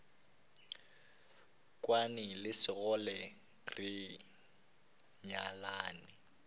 kwane le sekgole re nyalane